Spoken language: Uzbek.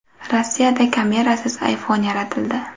Rossiyada kamerasiz iPhone yaratildi.